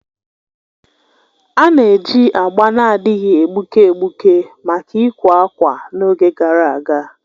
A na-eji agba na-adịghị egbuke egbuke maka ịkwè ákwà n'oge gara aga.